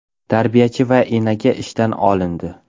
Tarbiyachi va enaga ishdan olindi.